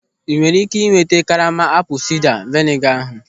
Ị nwere ị́ké iweta karama apụl sida veniga ahụ?